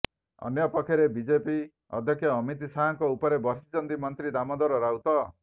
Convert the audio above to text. ଅନ୍ୟପକ୍ଷରେ ବିଜେପି ଅଧ୍ୟକ୍ଷ ଅମିତ ଶାହଙ୍କ ଉପରେ ବର୍ଷିଛନ୍ତି ମନ୍ତ୍ରୀ ଦାମୋଦର ରାଉତ